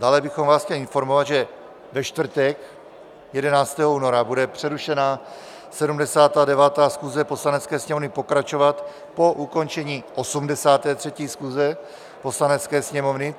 Dále bychom vás chtěli informovat, že ve čtvrtek 11. února bude přerušená 79. schůze Poslanecké sněmovny pokračovat po ukončení 83. schůze Poslanecké sněmovny.